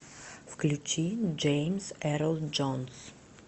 включи джеймс эрл джонс